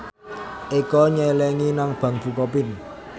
Eko nyelengi nang bank bukopin